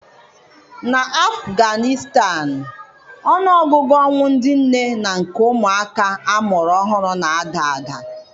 Na Apganịstan, ọnụ ọgụgụ ọnwụ ndị nne na nke ụmụ àkà amụrụ ọhụrụ na-ada ada